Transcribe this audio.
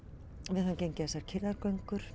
við höfum gengið þessar